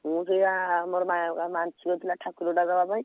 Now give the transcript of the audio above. ମୁଁ ସେୟା ଆମର ମା ମାନସିକ ଥିଲା ଠାକୁରଟା ଦବା ପାଇଁ।